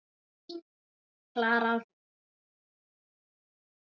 Þín, Klara Rún.